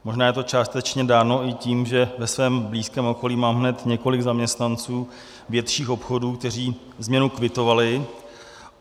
Možná je to částečně dáno i tím, že ve svém blízkém okolí mám hned několik zaměstnanců větších obchodů, kteří změnu kvitovali.